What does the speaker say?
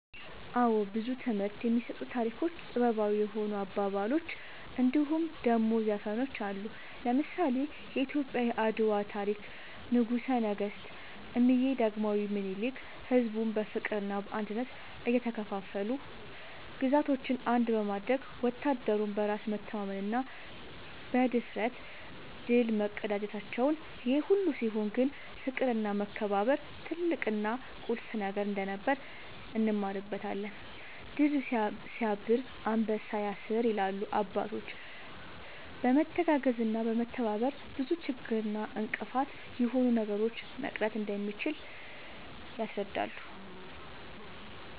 አወ ብዙ ትምህርት የሚሰጡ ታሪኮች ጥበባዊ የሆኑ አባባሎች እንድሁም ደሞ ዘፈኖች አሉ። ለምሳሌ :-የኢትዮጵያ የአድዋ ታሪክ ንጉሰ ነገስት እምዬ ዳግማዊ ምኒልክ ሕዝቡን በፍቅርና በአንድነት የተከፋፈሉ ግዛቶችን አንድ በማድረግ ወታደሩም በራስ መተማመንና ብድፍረት ድል መቀዳጀታቸውን ይሄ ሁሉ ሲሆን ግን ፍቅርና መከባበር ትልቅና ቁልፍ ነገር እንደነበር እንማርበታለን # "ድር ስያብር አንበሳ ያስር" ይላሉ አባቶች በመተጋገዝና በመተባበር ብዙ ችግር እና እንቅፋት የሆኑ ነገሮችን መቅረፍ እንደሚቻል ያስረዳሉ